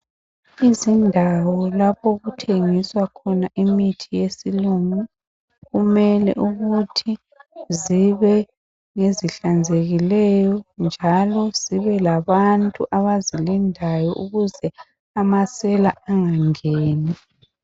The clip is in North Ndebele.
Indawo lapho okuthengiswa khona imithi yesilungu kumele ukuthi zibe ngezihlanzekileyo njalo zibe labantu abazilindayo ukuze amasela angangeni.